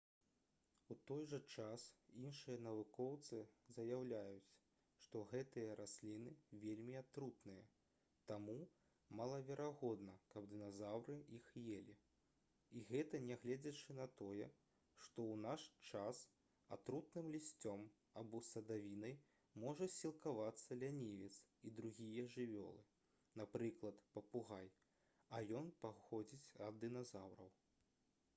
у той жа час іншыя навукоўцы заяўляюць што гэтыя расліны вельмі атрутныя таму малаверагодна каб дыназаўры іх елі. і гэта нягледзячы на тое што ў наш час атрутным лісцем або садавіной можа сілкавацца лянівец і другія жывёлы напрыклад папугай а ён паходзіць ад дыназаўраў